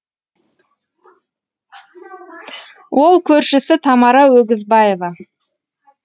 ол көршісі тамара өгізбаева